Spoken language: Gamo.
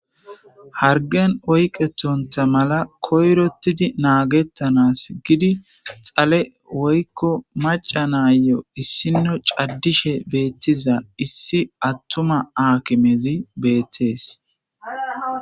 Hargen oyqetonta mala koyrotidi naagettanas gidi xale woykko maca naayo issino caddishe beettiza issi attuma aakimezi beettees.